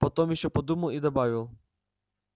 потом ещё подумал и добавил